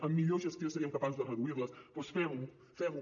amb millor gestió seríem capaços de reduir les doncs fem ho fem ho